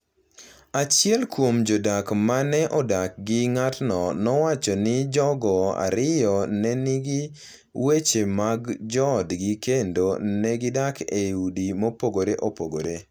Achiel kuom jodak ma ne odak gi ng’atno nowacho ni jogo ariyo ne nigi weche mag joodgi kendo ne gidak e udi mopogore opogore.